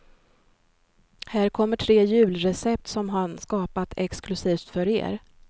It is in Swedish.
Här kommer tre julrecept som han skapat exklusivt för er.